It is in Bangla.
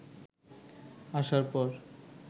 আসার পর